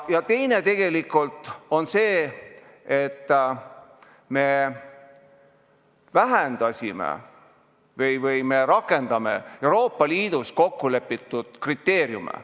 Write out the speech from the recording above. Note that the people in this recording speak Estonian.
Ja teine on tegelikult see, et me rakendame Euroopa Liidus kokku lepitud kriteeriume.